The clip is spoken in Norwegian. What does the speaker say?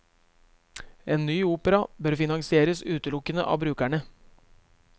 En ny opera bør finansieres utelukkende av brukerne.